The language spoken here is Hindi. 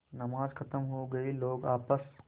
नमाज खत्म हो गई है लोग आपस